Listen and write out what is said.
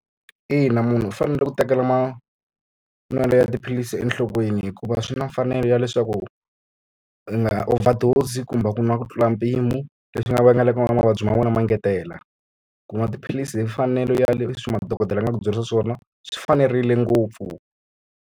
Ina, munhu u fanele ku tekela ma manwelo ya tiphilisi enhlokweni hikuva swi na mfanelo ya leswaku, u nga overdose-i kumbe ku nwa ku tlula mpimo. Leswi nga vangaleka mavabyi ma vona ma engetela. Ku nwa tiphilisi hi mfanelo ya leswi madokodela ma ku byerisa swona swi fanerile ngopfu.